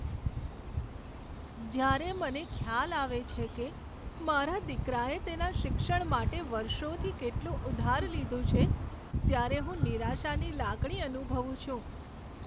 જ્યારે મને ખ્યાલ આવે છે કે મારા દીકરાએ તેના શિક્ષણ માટે વર્ષોથી કેટલું ઉધાર લીધું છે, ત્યારે હું નિરાશાની લાગણી અનુભવું છું.